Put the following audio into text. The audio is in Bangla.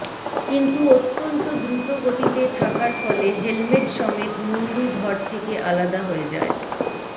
কিন্তু অত্যন্ত দ্রুত গতিতে থাকার ফলে হেলমেট সমেত মুন্ডু ধর থেকে আলাদা হয়ে যায়